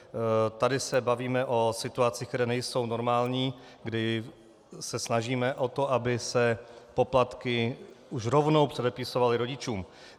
Tady se bavíme o situacích, které nejsou normální, kdy se snažíme o to, aby se poplatky už rovnou předepisovaly rodičům.